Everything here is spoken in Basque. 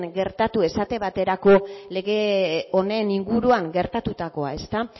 gertatu esate baterako lege honen inguruan gertatutakoa